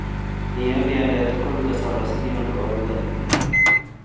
Niĩ ndiendete kkũruga cabaci nĩũndũ wa ũrugarĩ mũingĩ